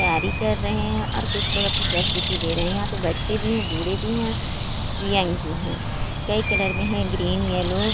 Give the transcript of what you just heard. तैयारी कर रहे हैं और कुछ लोग अपनी प्रस्तुति दे रहे हैं यहाँ पे बच्चे भी हैं बूढ़े भी हैं और यंग भी है कई कलर में है ग्रीन येलो --